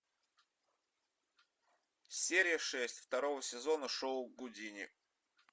серия шесть второго сезона шоу гудини